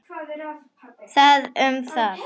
Það um það.